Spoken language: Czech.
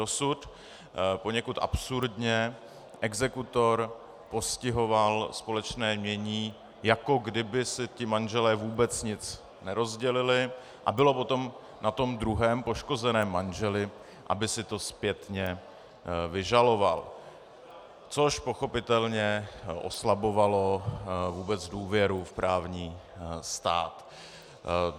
Dosud poněkud absurdně exekutor postihoval společné jmění, jako kdyby si ti manželé vůbec nic nerozdělili, a bylo potom na tom druhém, poškozeném manželi, aby si to zpětně vyžaloval, což pochopitelně oslabovalo vůbec důvěru v právní stát.